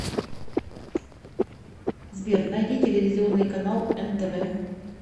сбер найди телевизионный канал нтв